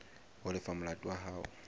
ho lefa molato wa hao